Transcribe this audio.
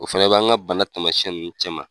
O fɛnɛ bɛ an ka bana taamasiyɛn ninnu cɛma.